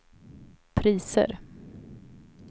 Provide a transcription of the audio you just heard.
priser